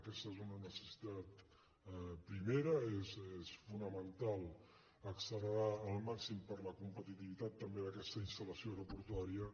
aquesta és una necessitat primera és fonamental accelerar al màxim per la competitivitat també d’aquesta instal·lació aeroportuària